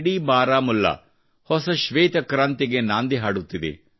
ಇಡೀ ಬಾರಾಮುಲ್ಲಾ ಹೊಸ ಶ್ವೇತ ಕ್ರಾಂತಿಗೆ ನಾಂದಿ ಹಾಡುತ್ತಿದೆ